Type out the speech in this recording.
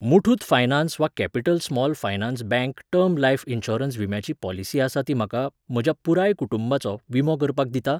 Muthoot finance वा capital small finance bank term life insurance विम्याची policy आसा ती म्हाका, म्हज्या पुराय कुटुंबाचो, विमो करपाक दिता?